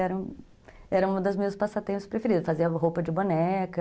Era era uma dos meus passatempo preferidos, fazia roupa de boneca...